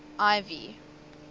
ivy